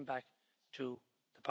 viele Argumente vorgetragen.